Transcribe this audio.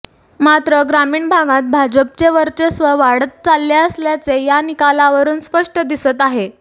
मात्र ग्रामीण भागात भाजपचे वर्चस्व वाढत चालले असल्याचे या निकालावरून स्पष्ट दिसत आहे